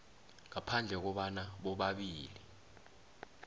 ngaphandle kobana bobabili